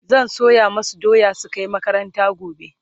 zan soya masu doya su Kai makaranta gobe